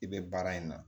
I bɛ baara in na